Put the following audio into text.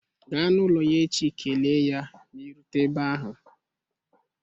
Gaa n'ụlọ ya echi kelee ya ma ị rutere ebe ahụ